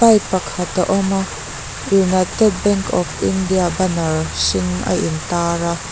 bike pakhat a awma united bank of India banner hring a in tar a --